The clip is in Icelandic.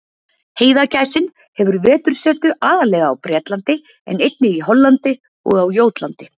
Heiðagæsin hefur vetursetu aðallega á Bretlandi en einnig í Hollandi og á Jótlandi.